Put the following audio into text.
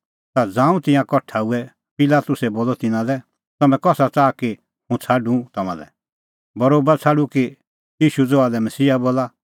ता ज़ांऊं तिंयां कठा हुऐ पिलातुसै बोलअ तिन्नां लै तम्हैं कसा च़ाहा कि हुंह छ़ाडूं तम्हां लै बरोबा छ़ाडूं कि ईशू ज़हा लै मसीहा बोला